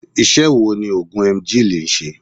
Ise wo ni ogun Emgyl n se?